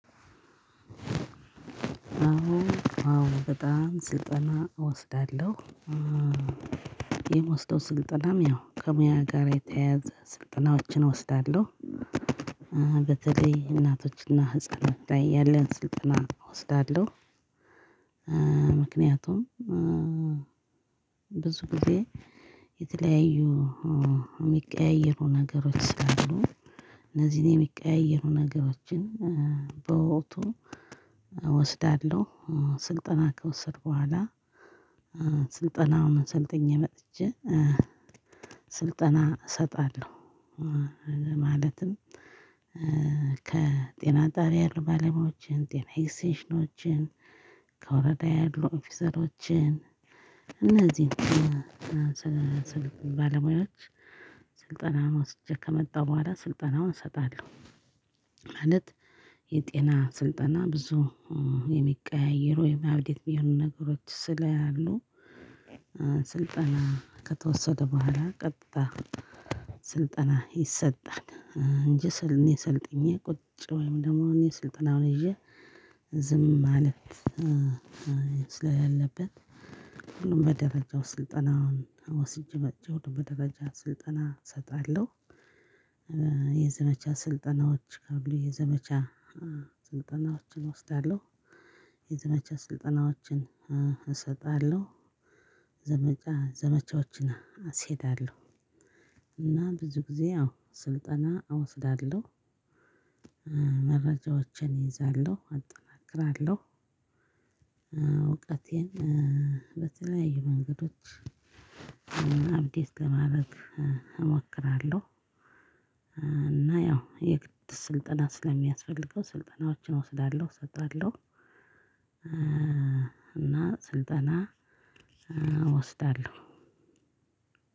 አሁን አሁን በጣም ስልጠና እወስዳለሁ። የምወስደው ስልጠናም ያው ከሙያ ጋር የተያያዘ ስልጠናዎችን እወስዳለሁ። በተለይ እናቶችና ህፃናት ላይ ያለን ስልጠና እወስዳለሁ። ምክንያቱም ብዙ ጊዜ የተለያዩ የምቀያየሩ ነገሮች ስላሉ እነዚህ የምቀያዩሩ ነገሮችን በወክቱ እወስዳለው ስልጠና ከወሰድኩ ቦኃላ ስልጠናዉን ሰልጥኜ መጥቼ ስልጠና እሰጣለሁ። ማለትም ከጤና ጣቢያ ያሉ ባለሙያዎችን ጤና እክስተንሽኖችን ከወረዳ ያሉ ኦፊሰሮችን እነዚህን ስልጣን ወስጄ ከመጣሁ በኋላ ስልጠናውን እሰጣለሁ። ማለት የጤና ስልጠና ብዙ የሚቀያይሩ የባዮደየት የሆኑ ነገሮች ስለያሉ ስልጠና ከተወሰደ በኋላ ቀጥታ ስልጠና ይሰጣል። እንጂ ስለእኔ ሰልጥኜ ቁጭ ወይም ደግሞ እኔ ስልጠና ነው ይዤ ዝም ማለት ስለሌለበት ሁሉም በደረጃው ስልጠና ወስጄ መጥቼ ሁሉም በደረጃ ስልጠና እሰጣለሁ። የዘመቻ ስልጠናዎች ካብሉ የዘመቻ ስልጠናዎችን እወስዳለሁ የዘመቻ ስልጠናዎችን እሰጣለሁ ዘመቻ ዘመቻዎችን አስከሄዳለሁ። እና ብዙ ጊዜ አዎ ስልጠና አወስዳለሁ። መረጃዎችን ይይዛለሁ አጠናክራለሁ እውቀቴን በተለያዩ መንገዶች አብዴት ለማድረግ እሞክራለሁ። እና ያው የግድ ስልጠና ስለሚያስፈልገው ስልጠናዎችን እወስዳለሁ እሰጣለሁ። ስልጠና እወስዳለሁ።